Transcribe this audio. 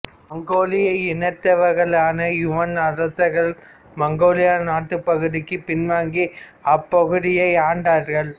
மங்கோலிய இனத்தவர்களான யுவான் அரசர்கள் மங்கோலிய நாட்டுபகுதிக்கு பின்வாங்கி அப்பகுதியை ஆண்டார்கள்